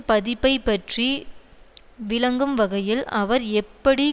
பதிப்பைப் பற்றி விளங்கும் வகையில் அவர் எப்படி